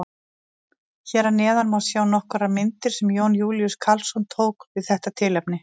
Hér að neðan má sjá nokkrar myndir sem Jón Júlíus Karlsson tók við þetta tilefni.